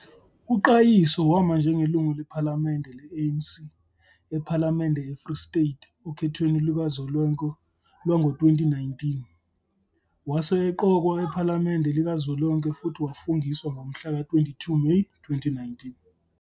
UQayiso wama njengelungu lephalamende le-ANC ePhalamende eFree State okhethweni lukazwelonke lwango -2019, wase eqokwa ePhalamende Likazwelonke futhi wafungiswa ngomhlaka 22 Meyi 2019.